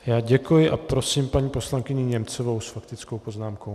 Já děkuji a prosím paní poslankyni Němcovou s faktickou poznámkou.